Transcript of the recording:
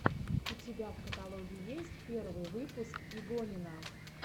у тебя в каталоге есть первый выпуск игонина